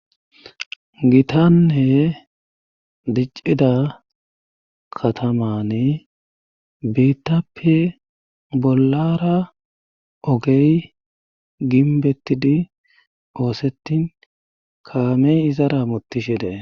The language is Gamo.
Gitanne diccida katamani biittappe bollara ogey ginbettidi oosettin kaamey izara motishedee.